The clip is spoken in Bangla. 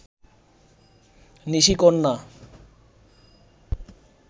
নিশিকন্যা